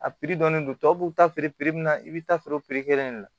A piri dɔnnen don tɔw b'u ta feere min na i bɛ taa feere de la